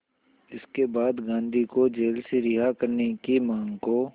इसके बाद गांधी को जेल से रिहा करने की मांग को